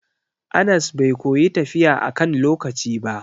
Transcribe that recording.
Anas bai koyi tafiya akan lokaci ba.